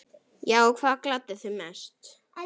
Já Hvað gladdi þig mest?